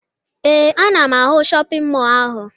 Ee, ana m ahụ shọpịn mọọ ahụ